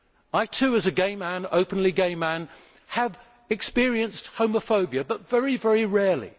I too, as an openly gay man, have experienced homophobia, but very, very rarely.